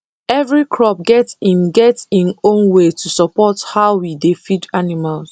every crop get im get im own way to support how we dey feed animals